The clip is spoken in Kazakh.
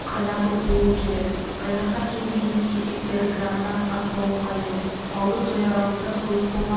қайнату қуыру керек қайнатқан кезде ет кесектері граммнан аспауы қажет малды сояр алдында сойып болған